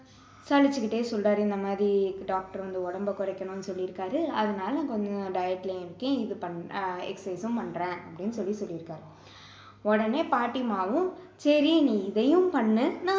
சலிச்சுக்கிட்டே சொல்றாரு இந்த மாதிரி doctor வந்து உடம்ப குறைக்கணும்னு சொல்லியிருக்காரு அதனால கொஞ்சம் diet லயும் இருக்கேன் இது பண்~ அஹ் exercise சும் பண்றேன் அப்படின்னு சொல்லி சொல்லி இருக்காரு உடனே பாட்டிமாவும் சரி நீ இதையும் பண்ணு நான்